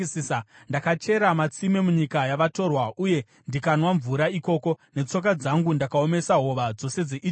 Ndakachera matsime munyika yavatorwa, uye ndikanwa mvura ikoko. Netsoka dzangu ndakaomesa hova dzose dzeIjipiti.”